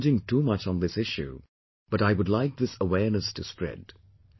I am not urging too much on this issue, but I would like this awareness to spread